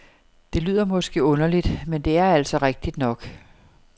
Det lyder måske underligt, men det er altså rigtigt nok.